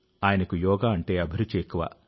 ఆయనకు యోగా అంటే అభిరుచి ఎక్కువ